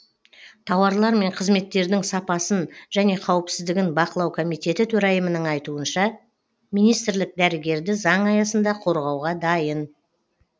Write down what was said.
тауарлар мен қызметтердің сапасын және қауіпсіздігін бақылау комитеті төрайымының айтуынша министрлік дәрігерді заң аясында қорғауға дайын